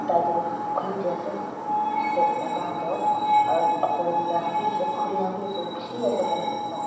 tai tu khulidi ase maika khan tu aru upar teh tina khan bhi khuri khan bhi ase bishi ase khan.